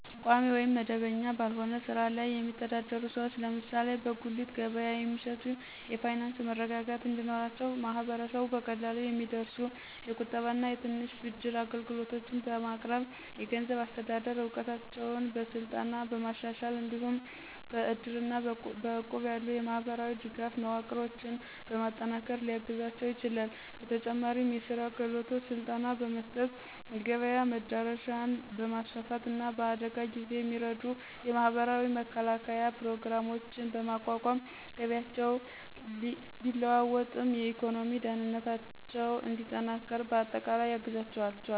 ቋሚ ወይም መደበኛ ባልሆነ ሥራ ላይ የሚተዳደሩ ሰዎች (ለምሳሌ በጉሊት ገበያ የሚሸጡ) የፋይናንስ መረጋጋት እንዲኖራቸው ማህበረሰቡ በቀላሉ የሚደርሱ የቁጠባና የትንሽ ብድር አገልግሎቶችን በማቅረብ፣ የገንዘብ አስተዳደር እውቀታቸውን በስልጠና በማሻሻል፣ እንዲሁም በእድርና በእቁብ ያሉ የማህበራዊ ድጋፍ መዋቅሮችን በማጠናከር ሊያግዛቸው ይችላል፤ በተጨማሪም የሥራ ክህሎት ስልጠና በመስጠት፣ የገበያ መዳረሻን በማስፋፋት፣ እና በአደጋ ጊዜ የሚረዱ የማህበራዊ መከላከያ ፕሮግራሞችን በማቋቋም ገቢያቸው ቢለዋወጥም የኢኮኖሚ ደህንነታቸው እንዲጠናከር በአጠቃላይ ያግዛቸዋል።